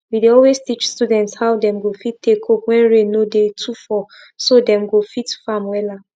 we dey always teach students how dem fit take cope when rain no dey too fall so dem go fit farm wella